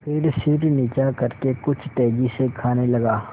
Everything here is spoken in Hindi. फिर सिर नीचा करके कुछ तेजी से खाने लगा